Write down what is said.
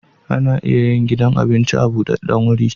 Ana iya yin gidan abinci a budaddan guri